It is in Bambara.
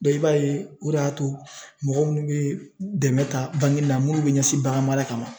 i b'a ye o de y'a to mɔgɔ minnu bɛ dɛmɛ ta la minnu bɛ ɲɛsin bagan mara kama